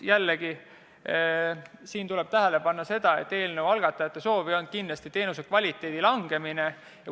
Jällegi, siin tuleb tähele panna, et eelnõu algatajate soov ei olnud teenuse kvaliteeti halvendada.